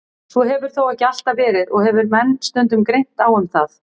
Svo hefur þó ekki alltaf verið og hefur menn stundum greint á um það.